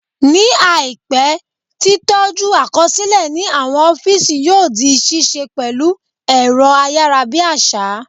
Ní àìpé, tí tọ́jú àkọsílẹ̀ ní àwọn ọ́físì yóò di ṣíṣe pẹ̀lú ẹ̀rọ ayárabíàṣá